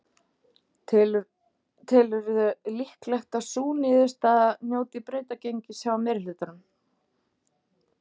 Telur þú líklegt að sú niðurstaða njóti brautargengis hjá meirihlutanum?